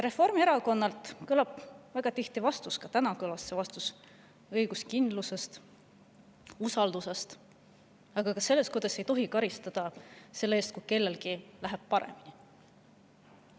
Reformierakonnalt kõlab väga tihti vastus – ka täna kõlas see vastus –, kus räägitakse õiguskindlusest ja usaldusest, aga ka sellest, kuidas ei tohi karistada selle eest, kui kellelgi läheb paremini.